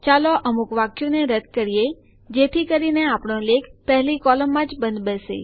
ચાલો અમુક વાક્યોને રદ્દ કરીએ જેથી કરીને આપણો લેખ પહેલી કોલમમાં જ બંધબેસે